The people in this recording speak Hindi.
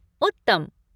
उत्तम!